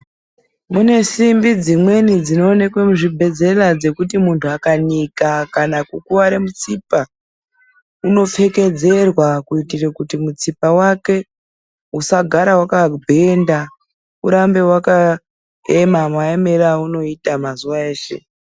Munesimbi dzimweni dzinoonekwa muzvibhedzera dzekuti munhu akanika kana kukuwara mutsipa unopfekedzerwa kuitira kuti mutsipa wake usagara wakabhenda urambe wakaema maemere aunoita mazuwa eshe .